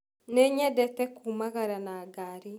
Nĩnyendete kũũmagara na ngari.